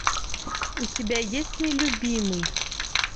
у тебя есть нелюбимый